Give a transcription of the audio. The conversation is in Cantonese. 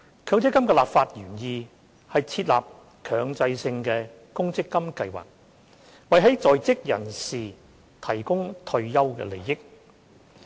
強積金的立法原意，是設立強制性公積金計劃，為在職人士提供退休利益。